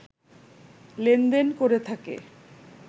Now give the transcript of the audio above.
লেনদেন করে থাকে